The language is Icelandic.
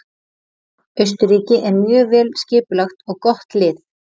Austurríki er mjög vel skipulagt og gott lið.